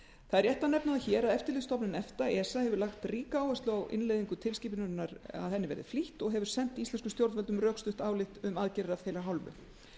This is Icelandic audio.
það er rétt að n efna það hér að eftirlitsstofnun efta hefur lagt ríka áherslu á innleiðingu tilskipunarinnar að henni verði flýtt og hefur sent íslenskum stjórnvöldum rökstutt álit um aðgerðir af þeirra hálfu